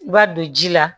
I b'a don ji la